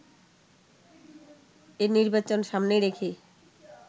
এ নির্বাচন সামনে রেখে